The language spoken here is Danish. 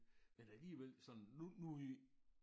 Men alligevel sådan nu nu i